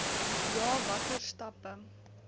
ja watter stappe